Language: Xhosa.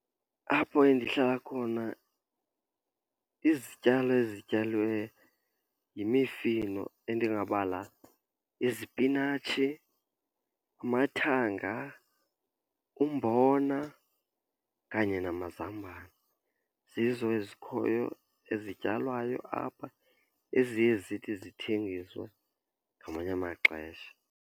Apho endihlala khona izityalo ezityaliweyo yimifino, endingabala izipinatshi, amathanga, umbona kanye namazambane. Zizo ezikhoyo ezityalwayo apha eziye zithi zithengiswe ngamanye amaxesha.